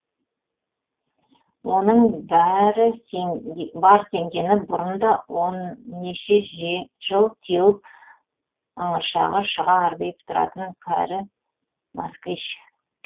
оның бар сенгені бұрын да он неше жыл теуіп ыңыршағы шыға арбиып тұратын кәрі москвищ